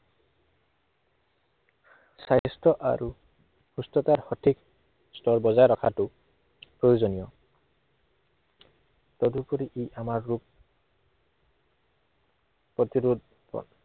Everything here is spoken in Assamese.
স্বাস্থ্য় আৰু সুস্থতাৰ সঠিক স্তৰ বজাই ৰখাটো, প্ৰয়োজনীয়। তদুপৰি ই আমাৰ ৰোগ প্ৰতিৰোধৰ